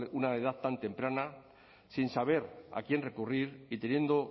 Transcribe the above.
una edad tan temprana sin saber a quién recurrir y temiendo